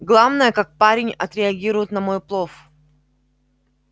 главное как парень отреагирует на мой плов